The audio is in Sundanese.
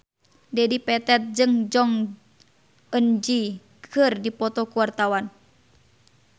Dedi Petet jeung Jong Eun Ji keur dipoto ku wartawan